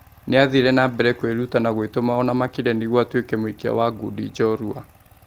Nĩ athire nambere kwĩ ruta na gũĩ tũma ona makĩ rĩ a nĩ guo atũĩ ke mũikia wa ngudi njorua.